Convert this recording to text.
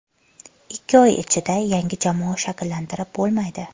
Ikki oy ichida yangi jamoa shakllantirib bo‘lmaydi.